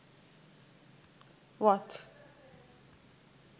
watch